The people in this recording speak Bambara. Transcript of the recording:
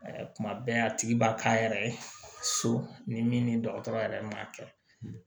Kuma bɛɛ a tigi b'a k'a yɛrɛ ye so ni min ni dɔgɔtɔrɔ yɛrɛ m'a kɛ